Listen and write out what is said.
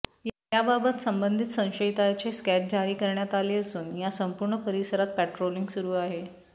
याबाबत संबंधित संशयिताचे स्केच जारी करण्यात आले असून या संपूर्ण परिसरात पेट्रोलिंग सुरू आहे